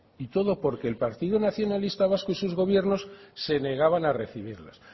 y todo porque el partido nacionalista vasco y sus gobiernos se negaban a recibirlos